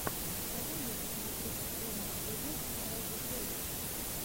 давай я посмотрю последний эпизод райди шейха